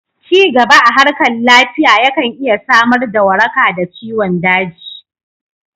Cigaba a harkar lafiya ya kan iya samar da waraka da ciwon daji